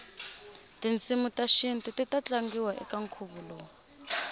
tinsimutashintu titatlangiwa ekankhuvolowu